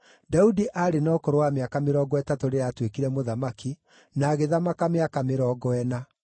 Daudi aarĩ na ũkũrũ wa mĩaka mĩrongo ĩtatũ rĩrĩa aatuĩkire mũthamaki, na agĩthamaka mĩaka mĩrongo ĩna.